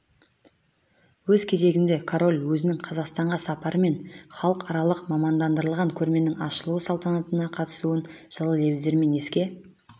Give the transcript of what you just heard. өз кезегінде король өзінің қазақстанға сапары мен халықаралық мамандандырылған көрменің ашылу салтанатына қатысуын жылы лебіздермен еске